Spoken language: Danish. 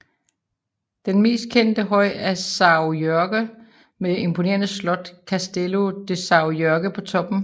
Den mest kendte høj er Sâo Jorge med det imponerende slot Castelo de São Jorge på toppen